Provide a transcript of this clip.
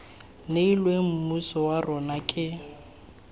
neilweng mmuso wa rona ke